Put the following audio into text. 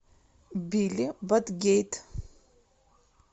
билли батгейт